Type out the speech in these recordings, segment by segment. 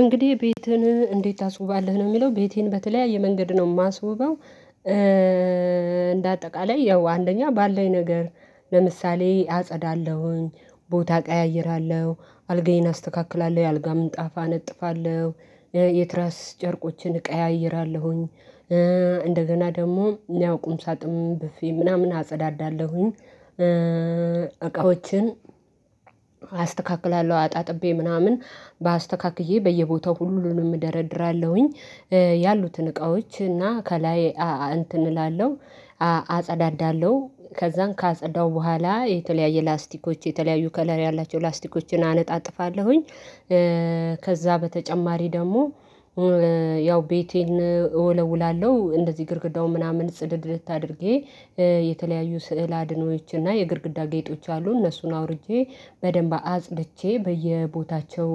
እንግዲህ ቤትህን እንዴት ታስውባለህ ነው የሚለው ቤቴን በተለያየ መንገድ ነው የማስውበው? እንደ አጠቃላይ ያው አንደኛ ባለኝ ነገር ለምሳሌ አጸዳለሁኝ ቦታ አቀያይራለሁ አልጋዬን አስተካክላለሁ የአልጋ ምንጣፋ አነጥፋለሁ የትራስ ጨርቆችን እቀያይራለሁኝ እንደገና ደግሞ ያው ቁም ሳጥኑን ብፌ ምናምን አጸዳዳለሁኝ እቃዎችን አስተካክላለሁ አጣጥቤ ምናምን በአስተካክዬ በየቦታው ሁሉንም እደረድራለሁኝ ያሉትን እቃዎች እና ከላይ እንትን እላለሁ አጸዳዳለሁ ከዛን ካጸዳሁ በኋላ የተለያየ ላስቲኮች የተለያዩ ከለር ያላቸው ላስቲኮችን አነጣጥፋለሁኝ። ከዛ በተጨማሪ ደግሞ ያው ቤቴን እወለውላለው እንደዚህ ግድግዳው ምናምን ጽድድት አድርጌ የተለያዩ ስዕለ አድኖዎች እና የግድግዳ ጌጦች አሉ እነሱን አውርጄ በደንብ አጽድቼ በየቦታቸው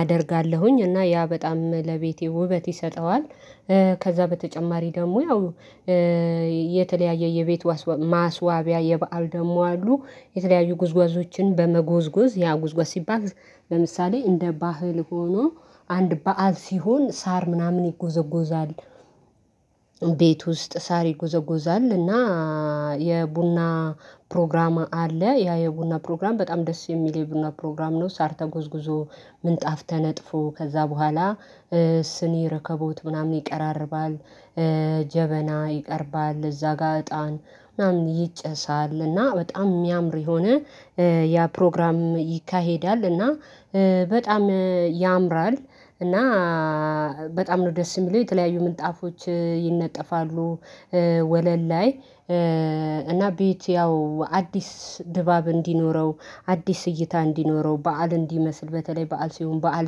አደርጋለሁኝ እና ያ በጣም ለቤቴ ውበት ይሰጠዋል። ከዛ በተጨማሪ ደግሞ ያው የተለያየ የቤት ማስዋቢያ የበአል ደግሞ አሉ የተለያዩ ጉዝጓዦችን በመጎዝጎዝ ያ ጉዝጓዝ ሲባል ለምሳሌ እንደ ባህል ሆኖ አንድ በዓል ሲሆን ሳር ምናምን ይጎዘጎዛል። ቤት ውስጥ ሳር ይጎዘጎዛል እና የቡና ፕሮግራም አለ ያ የቡና ፕሮግራም በጣም ደስ የሚል የቡና ፕሮግራም ነው። ሳር ተጎዝጉዞ ምንጣፍ ተነጥፎ ከዛ በኋላ ስኒ ረከቦት ምናምን ይቀራርባል ጀበና ይቀርባል እዛ ጋር እጣን ምናምን ይጨሳል እና በጣም የሚያምር የሆነ ያ ፕሮግራም ይካሄዳል እና በጣም ያምራል። እና በጣም ነው ደስ የሚለው የተለያዩ ምንጣፎች ይነጠፋሉ። ወለል ላይ እና ቤት ያው አዲስ ድባብ እንዲኖረው አዲስ እይታ እንዲኖረው በዓል እንዲመስል በተለይ በዓል ሲሆን በዓል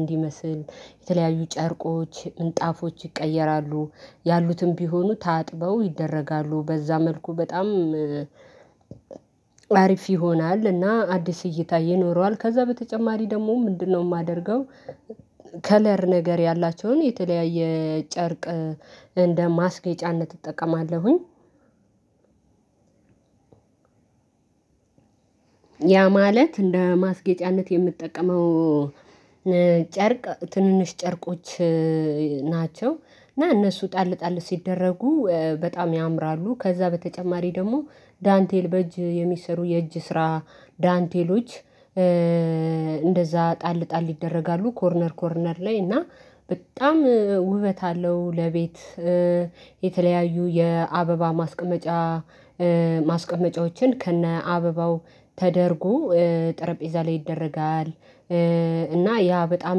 እንዲመስል የተለያዩ ጨርቆች ምንጣፎች ይቀየራሉ ያሉትም ቢሆኑ ታጥበው ይደረጋሉ በዛ መልኩ በጣም አሪፍ ይሆናል እና አዲስ እይታ ይኖረዋል። ከዛ በተጨማሪ ደግሞ ምንድነው የማደርገው ከለር ነገር ያላቸውን የተለያየ ጨርቅ እንደ ማስጌጫነት እጠቀማለሁኝ። ያ ማለት እንደ ማስጌጫነት የምጠቀመው ጨርቅ ትንንሽ ጨርቆች ናቸው። እና እነሱ ጣል ጣል ሲደረጉ በጣም ያምራሉ። ከዛ በተጨማሪ ደግሞ ዳንቴል በእጅ የሚሰሩ የእጅ ስራ ዳንቴሎች ጣል ጣል ይደረጋሉ ኮርነር ኮርነር ላይ እና በጣም ውበት አለው። ለቤት የተለያዩ የአበባ ማስቀመጫ ማስቀመጫዎችን ከእነ አበባው ተደርጎ ጠረጴዛ ላይ ይደረጋል። እና ያ በጣም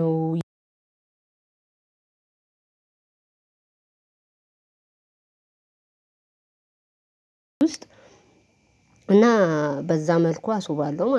ነው ውስጥ እና በዛ መልኩ አስውባለሁ ማለት ነው